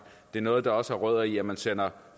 det er noget der også har rødder i at man sender